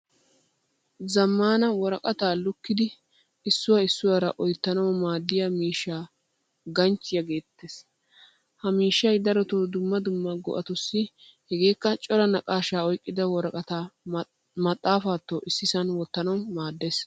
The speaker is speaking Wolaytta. Zamaana worqqata lukkidi issuwaa issuwara oyttanawu maadiya miishshaa ganchchiyaa geetees. Ha miishshay daroto dumma dumma go'atussi hegekka cora naaqashsha oyqqida worqqata maxaafaato issisan wottanawu maaddees.